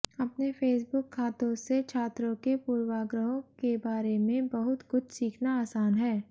अपने फेसबुक खातों से छात्रों के पूर्वाग्रहों के बारे में बहुत कुछ सीखना आसान है